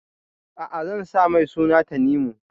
A'a, zan sa mai suna Tanimu.